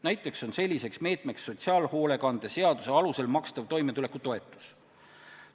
Näiteks on selliseks meetmeks sotsiaalhoolekande seaduse alusel makstav toimetulekutoetus.